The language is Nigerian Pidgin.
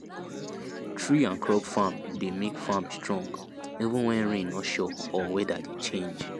tree and crop farm dey make farm strong even when rain no sure or weather dey change